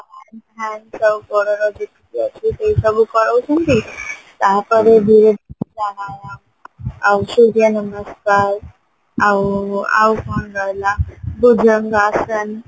ହାତ ଗୋଡର ଯେତିକ ଅଛି ସେଇ ସବୁ କରଉଚନ୍ତି ତାପରେ ଧୀରେ ଧୀରେ ଆଉ ସୂର୍ଯ୍ୟ ନମସ୍କାର ଆଉ ଆଉ କଣ ରହିଲା ଆସନ